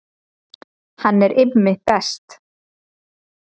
Hann er Immi best